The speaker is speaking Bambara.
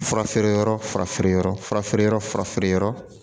Fura feere yɔrɔ fura feere yɔrɔ fura feere yɔrɔ